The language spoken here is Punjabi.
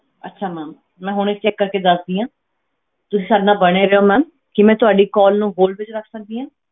ਅੱਛਾ ma'am ਮੈਂ ਹੁਣੇ check ਕਰਕੇ ਦੱਸਦੀ ਹਾਂ, ਤੁਸੀਂ ਸਾਡੇ ਨਾਲ ਬਣੇ ਰਹਿਓ ma'am ਕੀ ਮੈਂ ਤੁਹਾਡੀ call ਨੂੰ hold ਵਿੱਚ ਰੱਖ ਸਕਦੀ ਹਾਂ।